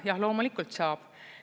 Jah, loomulikult saab.